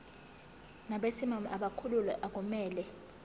nabesimame abakhulelwe akumele